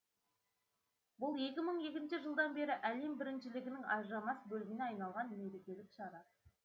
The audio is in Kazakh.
бұл екі мың екінші жылдан бері әлем біріншілігінің ажырамас бөлігіне айналған мерекелік шара